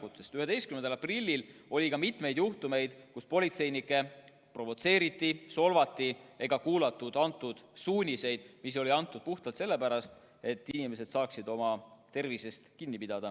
11. aprillil oli ka mitmeid juhtumeid, kus politseinikke provotseeriti, solvati ega kuulatud nende suuniseid, mis olid antud puhtalt selle pärast, et inimesed saaksid oma tervist hoida.